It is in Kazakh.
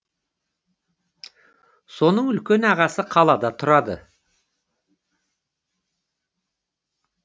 соның үлкен ағасы қалада тұрады